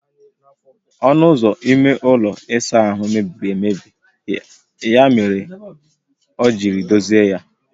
Onụ ụzọ ime ụlọ ịsa ahụ mebiri emebi ya mere ọ jiri dozie ya